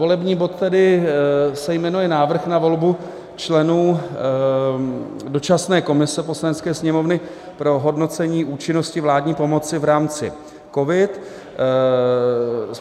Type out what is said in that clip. Volební bod se tedy jmenuje Návrh na volbu členů dočasné komise Poslanecké sněmovny pro hodnocení účinnosti vládní pomoci v rámci COVID.